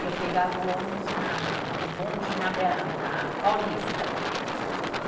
e eu pegava o ônibus na, o bonde na, na Paulista, e